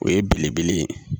O ye belebele ye